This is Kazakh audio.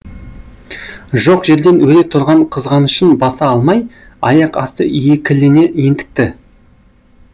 жоқ жерден өре тұрған қызғанышын баса алмай аяқ асты екілене ентікті